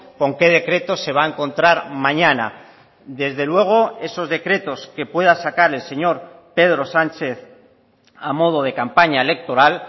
con qué decreto se va a encontrar mañana desde luego esos decretos que pueda sacar el señor pedro sánchez a modo de campaña electoral